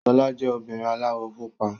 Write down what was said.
Ṣọlá jẹ́ obìnrin aláwọ̀ pupa.